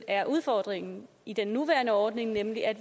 er udfordringen i den nuværende ordning nemlig at